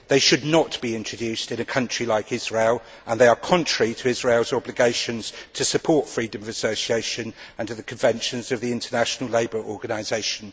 They should not be introduced in a country like Israel, and they are contrary to Israel's obligations to support freedom of association under the Conventions of the International Labour Organisation.